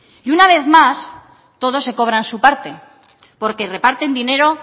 y una vez más todos se cobran su parte porque reparten dinero